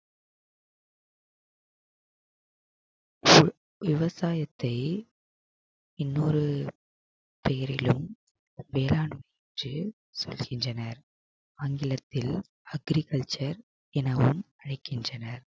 விவசாயத்தை இன்னொரு பெயரிலும் சொல்கின்றனர் ஆங்கிலத்தில் agriculture எனவும் அழைக்கின்றனர்